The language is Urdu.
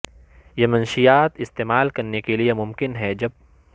یہ منشیات استعمال کرنے کے لئے ممکن ہے جب